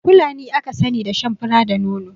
Fulani aka sani da shan fura da nono